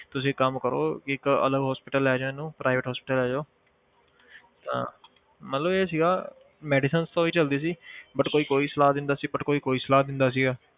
ਤੁਸੀਂ ਕੰਮ ਕਰੋ ਇੱਕ ਅਲੱਗ hospital ਲੈ ਜਾਓ ਇਹਨੂੰ private hospital ਲੈ ਜਾਓ ਤਾਂ ਮਤਲਬ ਇਹ ਸੀਗਾ medicine ਤਾਂ ਉਹੀ ਚੱਲਦੀ ਸੀ but ਕੋਈ ਕੋਈ ਸਲਾਹ ਦਿੰਦਾ ਸੀ but ਕੋਈ ਕੋਈ ਸਲਾਹ ਦਿੰਦਾ ਸੀਗਾ